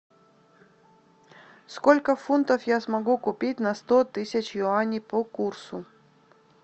сколько фунтов я смогу купить на сто тысяч юаней по курсу